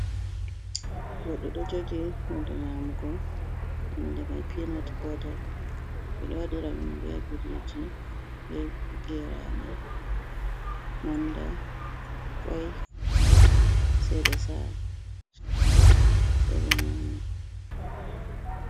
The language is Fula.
Goɗɗo ɗo jogi hunde nyamugo inde mai peanut butter. Ɓeɗo waɗira ɗum be biriji, be gerade, manda, kwai sai ɓe sa'a ɓe nyama.